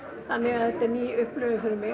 þetta er ný upplifun fyrir mig